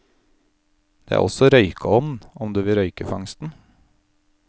Det er også røykeovn om du vil røyke fangsten.